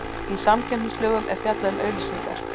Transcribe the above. Í samkeppnislögum er fjallað um auglýsingar.